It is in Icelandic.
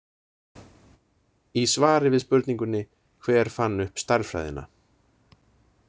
Í svari við spurningunni Hver fann upp stærðfræðina?